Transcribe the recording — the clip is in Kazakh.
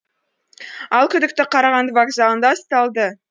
ал күдікті қарағанды вокзалында ұсталды